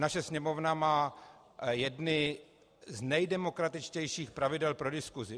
Naše Sněmovna má jedny z nejdemokratičtějších pravidel pro diskusi.